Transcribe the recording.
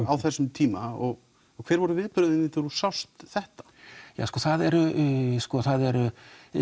á þessum tíma og hver voru viðbrögðin þín þegar þú sást þetta sko þarna eru